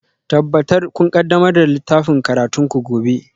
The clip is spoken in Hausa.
Tabbatar kun ƙaddamar da littafin karatunku gobe